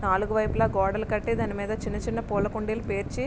నాలుగు వైపులా గోడలు కట్టి దాని పైన చిన్నచిన్న పూల కుండీలు పేర్చి --